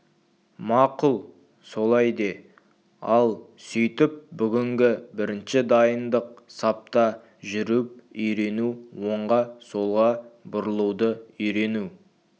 мақұл солай де ал сөйтіп бүгінгі бірінші дайындық сапта жүріп үйрену оңға солға бұрылуды үйрену